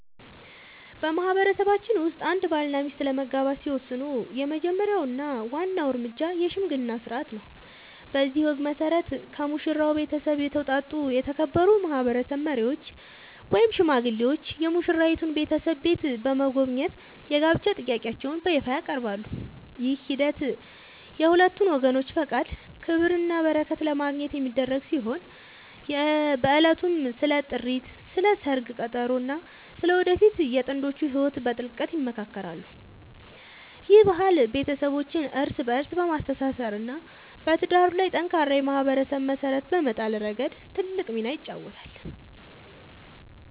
በማህበረሰባችን ውስጥ አንድ ባልና ሚስት ለመጋባት ሲወስኑ የመጀመሪያው እና ዋናው እርምጃ **የሽምግልና ሥርዓት** ነው። በዚህ ወግ መሠረት፣ ከሙሽራው ቤተሰብ የተውጣጡ የተከበሩ ማህበረሰብ መሪዎች ወይም ሽማግሌዎች የሙሽራይቱን ቤተሰብ ቤት በመጎብኘት የጋብቻ ጥያቄያቸውን በይፋ ያቀርባሉ። ይህ ሂደት የሁለቱን ወገኖች ፈቃድ፣ ክብርና በረከት ለማግኘት የሚደረግ ሲሆን፣ በዕለቱም ስለ ጥሪት፣ ስለ ሰርግ ቀጠሮ እና ስለ ወደፊቱ የጥንዶቹ ህይወት በጥልቀት ይመካከራሉ። ይህ ባህል ቤተሰቦችን እርስ በእርስ በማስተሳሰር እና በትዳሩ ላይ ጠንካራ የማህበረሰብ መሰረት በመጣል ረገድ ትልቅ ሚና ይጫወታል።